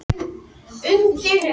En er á meðan er